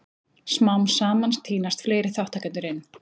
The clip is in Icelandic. Smám saman tínast fleiri þátttakendur inn.